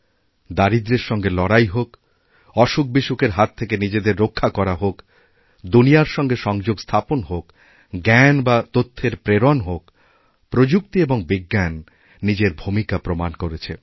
দারিদ্র্যের সঙ্গে লড়াই হোকঅসুখবিসুখের হাত থেকে নিজেদের রক্ষা করা হোক দুনিয়ার সঙ্গে সংযোগ স্থাপন হোকজ্ঞান বা তথ্যের প্রেরণ হোক প্রযুক্তি এবং বিজ্ঞান নিজের ভূমিকা প্রমাণ করেছে